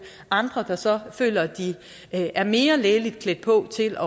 andre der så føler at de er mere lægeligt klædt på til